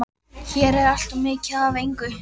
Hér er allt of mikið af engu.